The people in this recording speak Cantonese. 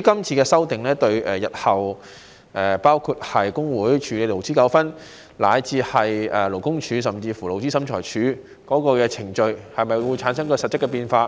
今次的修訂對日後工會處理勞資糾紛，以至勞工處甚至勞資審裁處的程序會否產生實質變化，